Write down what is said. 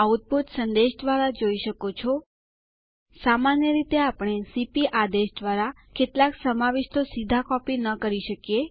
આ આદેશ વર્તમાન યુઝર થી બીજા યુઝર માં બદલવા માટે ઉપયોગી છે